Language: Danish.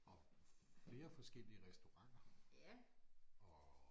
Og flere forskellige restauranter og